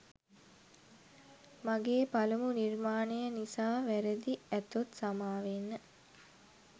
මගේ පළමු නිර්මාණය නිසා වැරදි ඇතොත් සමාවෙන්න